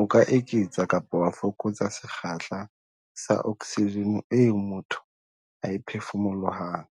"O ka eketsa kapa wa fokotsa sekgahla sa oksijene eo motho a e phefumolohang,"